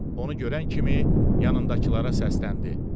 Onu görən kimi yanındakılara səsləndi.